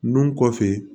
Nun kɔfɛ